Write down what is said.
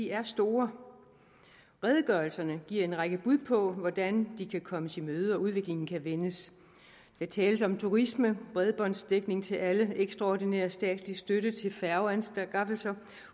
er store redegørelserne giver en række bud på hvordan de kan kommes i møde og udviklingen vendes der tales om turisme bredbåndsdækning til alle ekstraordinær statslig støtte til færgeanskaffelser